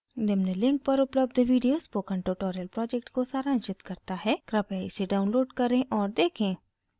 निम्न link पर उपलब्ध video spoken tutorial project को सारांशित करता है कृपया इसे download करें और देखें